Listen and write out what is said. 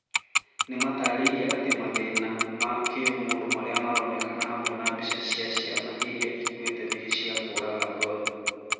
Nĩmatarĩirie atĩ mathĩna ma kĩũmũndũ marĩa maronekana hamwe na mbica cia ciana irĩa ikuĩte nĩ cia kũraga ngoro